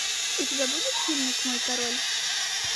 у тебя будет фильмик мой король